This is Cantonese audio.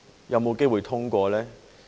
有否機會通過？